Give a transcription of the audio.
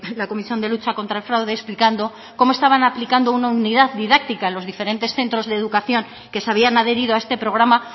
la comisión de lucha contra el fraude explicando cómo estaban aplicando una unidad didáctica en los diferentes centros de educación que se habían adherido a este programa